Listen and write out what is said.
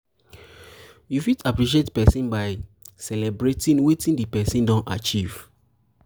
you fit appreciate person by celebrating wetin di person don achieve